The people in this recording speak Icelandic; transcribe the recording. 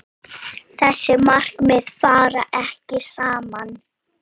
Þessi markmið fara ekki saman.